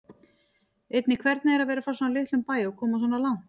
Einnig hvernig er að vera frá svona litlum bæ og komast svona langt?